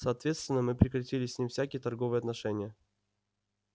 соответственно мы прекратили с ним всякие торговые отношения